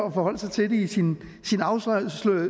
at forholde sig til det i sin